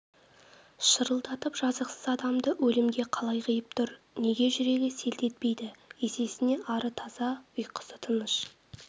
шырылдатып жазықсыз адамды өлімге қалай қиып тұр неге жүрегі селт етпейді есесіне ары таза ұйқысы тыныш